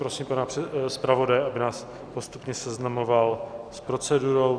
Prosím pana zpravodaje, aby nás postupně seznamoval s procedurou.